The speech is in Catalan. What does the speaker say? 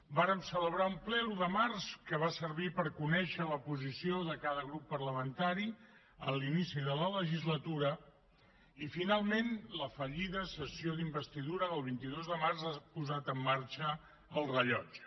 vàrem celebrar un ple l’un de març que va servir per conèixer la posició de cada grup parlamentari a l’inici de la legislatura i finalment la fallida sessió d’investidura del vint dos de març ha posat en marxa el rellotge